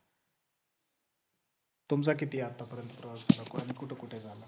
तुमचा किती आतापर्यंत प्रवास झाला पण कुठे कुठे झाला